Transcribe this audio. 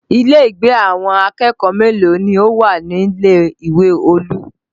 Ilé ìgbé àwọn akẹ́kọ̀ọ́ mélòó ni ó wà nílé ìwé Olú?